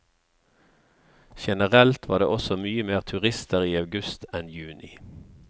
Generelt var det også mye mer turister i august enn juni.